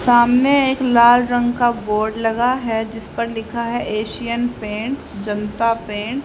सामने एक लाल रंग का बोर्ड लगा है जिस पर लिखा है एशियन पेंट्स जनता पेंट ।